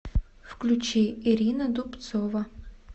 включи ирина дубцова